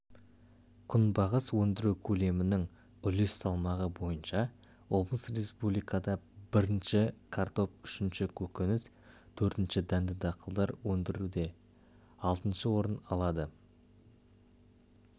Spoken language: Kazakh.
күнбағыс өндіру көлемінің үлес салмағы бойынша облыс республикада бірінші картоп үшінші көкөніс төртінші дәнді дақылдар өндіруде алтыншы орын алады